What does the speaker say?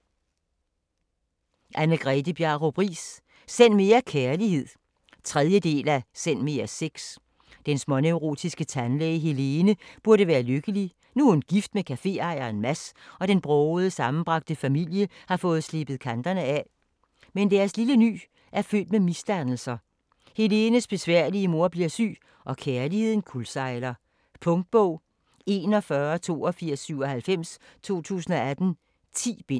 Riis, Anne-Grethe Bjarup: Send mere kærlighed 3. del af Send mere sex. Den småneurotiske tandlæge Helene burde være lykkelig, nu hun er gift med caféejeren Mads og den brogede, sammenbragte familie har fået slebet kanterne af. Men deres lille ny er født med misdannelser, Helenes besværlige mor bliver syg, og kærligheden kuldsejler. Punktbog 418297 2018. 10 bind.